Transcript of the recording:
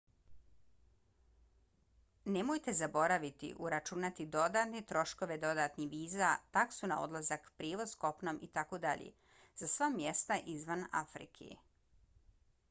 nemojte zaboraviti uračunati dodatne troškove dodatnih viza taksu na odlazak prijevoz kopnom itd. za sva mjesta izvan afrike